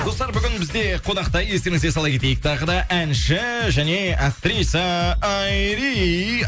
достар бүгін бізде қонақта естеріңізге сала кетейік тағы да әнші және актриса айри